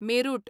Meerut